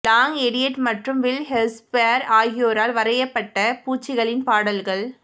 long Elliott மற்றும் Wil Hershberger ஆகியோரால் வரையப்பட்ட பூச்சிகளின் பாடல்கள்